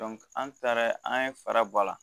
an taara an ye fɛɛrɛ bɔ a la